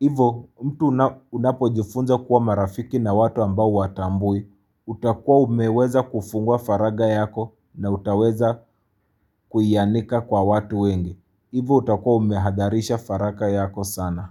Ivo mtu unapojifunza kuwa marafiki na watu ambao huwatambui, utakua umeweza kufungua faraga yako na utaweza kuianika kwa watu wengi. Ivo utakua umehadharisha faraga yako sana.